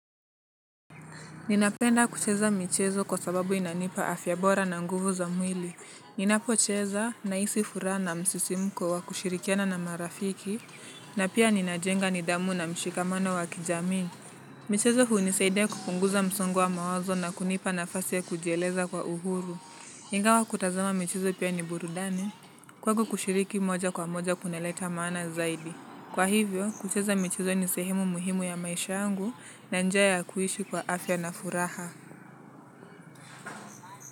Ninapenda kucheza michezo kwa sababu inanipa afya bora na nguvu za mwili. Ninapocheza na isi fura na msisimko wa kushirikiana na marafiki, na pia ninajenga nidhamu na mshikamano wa kijamii. Michezo huu nisaide kupunguza msungo wa mawazo na kunipa nafasi ya kujieleza kwa uhuru. Ingawa kutazama michezo pia ni burudani, kwakushiriki moja kwa moja kuneleta maana zaidi. Kwa hivyo, kucheza mechizo ni sehemu muhimu ya maisha yangu na njia kuishi kwa afya na furaha.